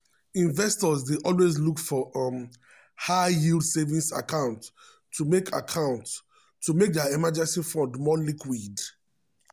investors dey always look for um high-yield savings accounts to make accounts to make dia emergency fund more liquid.